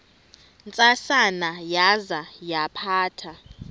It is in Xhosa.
ntsasana yaza yaphatha